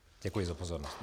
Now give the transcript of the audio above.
Děkuji za pozornost.